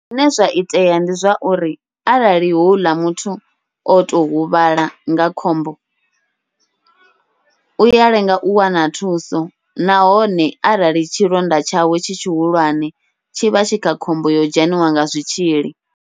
Zwine zwa itea ndi zwauri arali houḽa muthu oto huvhala nga khombo uya lenga u wana thuso, nahone arali tshilonda tshawe tshi tshihulwane tshivha tshi kha khombo yo dzheniwa nga zwitzhili.